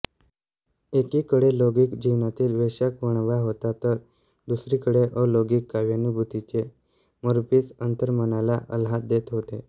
एकीकडे लौकिक जीवनातील वैशाखवणवा होता तर दुसरीकडे अलौकिक काव्यानुभूतीचे मोरपीस अंतर्मनाला आल्हाद देत होते